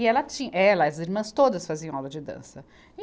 E ela tin, ela, as irmãs todas faziam aula de dança. e